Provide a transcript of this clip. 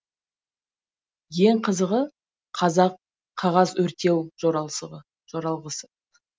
ең қызығы қазақ қағаз өртеу жоралғысы